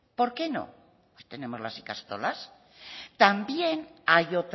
por qué no pues tenemos las ikastolas también hay